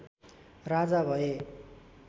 राजा भए